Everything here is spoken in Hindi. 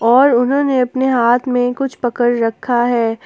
और उन्होंने अपने हाथ में कुछ पकड़ रखा है।